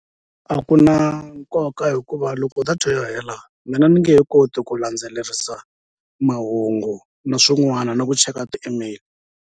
A ku na nkoka hikuva loko data yo hela mina ni nge he koti ku landzelerisa mahungu na swin'wana na ku cheka ti-email.